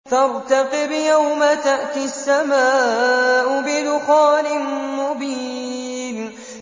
فَارْتَقِبْ يَوْمَ تَأْتِي السَّمَاءُ بِدُخَانٍ مُّبِينٍ